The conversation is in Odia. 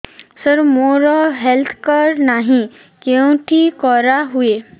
ସାର ମୋର ହେଲ୍ଥ କାର୍ଡ ନାହିଁ କେଉଁଠି କରା ହୁଏ